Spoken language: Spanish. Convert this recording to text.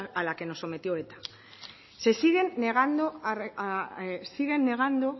a la que nos sometió eta se siguen negando siguen negando